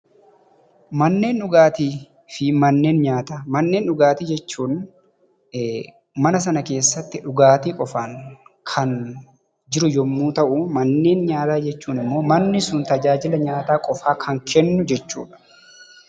Manneen dhugaatii jechuun manneen sana keessa dhugaati qofaan kan jiru yemmuu ta'u, manneen nyaataa ammoo manni sun tajaajila nyaataa qofa kan kennu jechuudha.